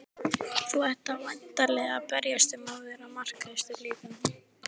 Þú ætlar væntanlega að berjast um að vera markahæstur líka?